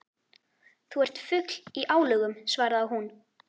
Þú ert fugl í álögum svaraði hún.